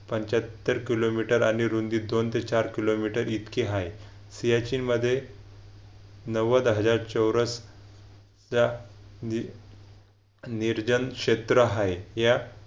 पंच्याहत्तर kilometre आणि रुंदी दोन ते चार किलोमीटर इतके आहे सियाचीन मध्ये नव्वद हजार चौरस च्या निर्जन क्षेत्र आहे या